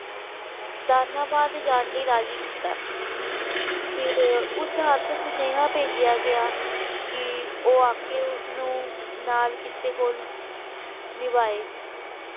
ਦਾਨਾਬਾਦ ਜਾਣ ਲਈ ਰਾਜੀ ਕੀਤਾ ਫਿਰ ਉਸ ਹੱਥ ਸੁਨੇਹਾ ਭੇਜਿਆ ਗਿਆ ਕਿ ਉਹ ਆ ਕੇ ਉਸਨੂੰ ਨਾਲ ਕਿਤੇ ਨਿਭਾਏ।